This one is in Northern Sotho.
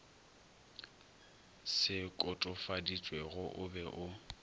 se kotofaditšwego o be o